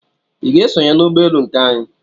I ga-esonye n'ụgbọelu nke anyị?